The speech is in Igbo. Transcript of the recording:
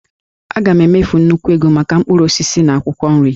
A ga-emefu nnukwu ego maka mkpụrụ osisi na akwụkwọ nri